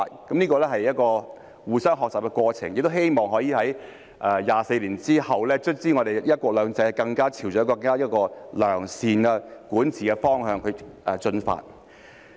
這是一個互相學習的過程，亦希望可以在24年之後，香港的"一國兩制"最終朝着一個更良善的管治方向進發。